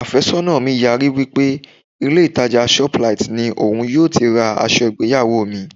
Àfẹ́sọ́nà mi yarí wí pé ilé ìtàjà shoplight ni òun yóò ti ra aṣọ ìgbéyàwó mi.